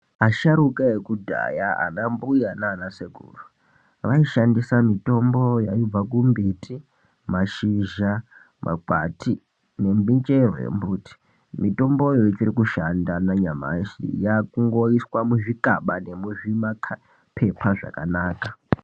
Asharuka ekudhaya anambuya nanasekuru vaishandisa mitombo yaibva kumbiti mashizha makwati nemichero yembuti mitomboyo ichikushanda nanyamashi yakungoiswa muzvikaba nemumapepa akanaka.